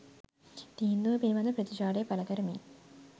තීන්දුව පිළිබඳව ප්‍රතිචාරය පළ කරමින්